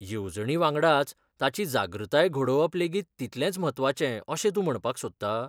येवजणीवांगडाच ताची जागृताय घडोवप लेगीत तितलेंच म्हत्वाचें अशें तूं म्हणपाक सोदता?